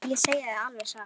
Ég segi það alveg satt.